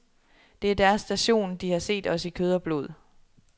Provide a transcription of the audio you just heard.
Det er deres station, de har set os i kød og blod.